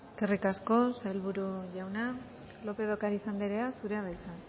eskerrik asko sailburu jauna lópez de ocariz andrea zurea da hitza